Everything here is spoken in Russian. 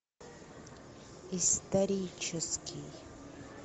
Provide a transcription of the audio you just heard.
исторический